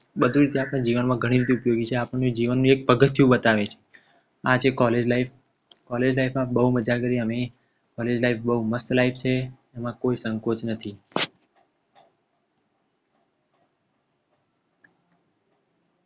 બધી રીતે આપણા જીવનમાં ઘણી રીતે ઉપયોગી છે આપણને જીવનમાં એક પગથિયું બતાવે છે આ છે College life. College life માં બવ મજા કરી અમે College life બોવ mast life છે એમાં કોઈ સંકોચ નથી.